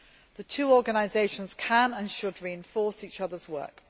The two organisations can and should reinforce each other's work.